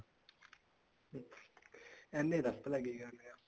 ਐਨੇ ਦੱਸ ਭਲਾਂ ਕੀ ਕਰਨੇ ਆ